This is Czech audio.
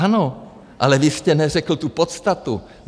Ano, ale vy jste neřekl tu podstatu.